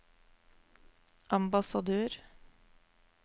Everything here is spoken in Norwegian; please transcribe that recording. ambassadør